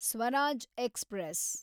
Swaraj express